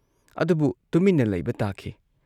ꯑꯗꯨꯕꯨ ꯇꯨꯃꯤꯟꯅ ꯂꯩꯕ ꯇꯥꯈꯤ ꯫